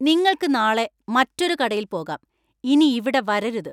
നിങ്ങൾക്ക് നാളെ മറ്റൊരു കടയിൽ പോകാം . ഇനി ഇവിടെ വരരുത്.